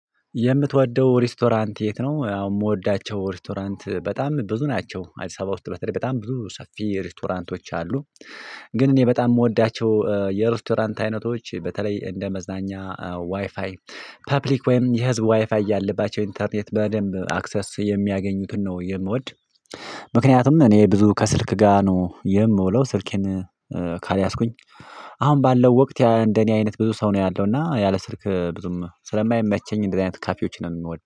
የምትወደው ሬስቶራንት የት ነው? የምወዳቸው ሬስቶራንት በጣም ብዙ ናቸው አዲስ አበባ ውስጥ በተለይ በጣም ብዙ ሰፊ ሬስቶራንቶች አሉ። ግን እኔ በጣም የምወዳቸው የሬስቶራንት አይነቶች በተለይ እንደ መዝናኛ ዋይፋይ ፐብሊክ ወይም የህዝብ ዋይፋይ ያለባቸው ኢንተርኔት በደንብ አክሰስ የሚያገኙትን ነው የምወድ። ምክንያቱም እኔ ብዙ ከስልክ ጋር ነው የምውለው ስልኬን ካልያዝኩኝ። አሁን ባለው ወቅት እንደኔ አይነት ብዙ ሰው ነው ያለው እና ያለ ስልክ ብዙም ስለማይመቸኝ እንደዚህ አይነት ካፌዎችን ነው የምወደው